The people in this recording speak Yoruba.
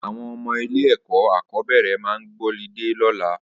Awọn ọmọ ilé ẹkọ akọbẹrẹ mà gbọlidé lọ̀là